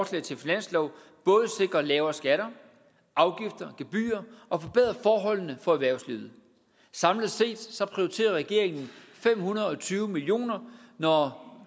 til finanslov både sikre lavere skatter afgifter og gebyrer og forbedre forholdene for erhvervslivet samlet set prioriterer regeringen fem hundrede og tyve million kr når